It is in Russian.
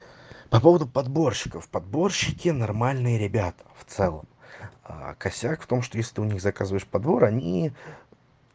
по поводу подборщиков подборщики нормальные ребята в целом а косяк в том что если ты у них заказываешь подборы они